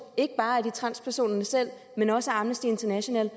ikke bare af transpersonerne selv men også af amnesty international